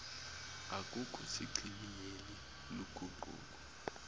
akukho sichibiyelo luguquko